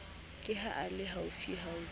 ke ha a le haufiufi